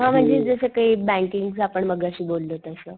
हा म्हणजे जस कि बँकिंग च आपण मगाशी बोललो तस.